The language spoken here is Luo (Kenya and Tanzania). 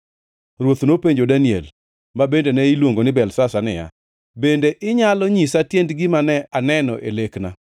Ruoth nopenjo Daniel (ma bende ne iluongo ni Belteshazar) niya, “Bende inyalo nyisa tiend gima ne aneno e lekna?”